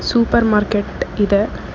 Super market ಇದೆ.